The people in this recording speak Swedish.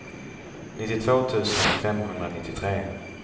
nittiotvå tusen femhundranittiotre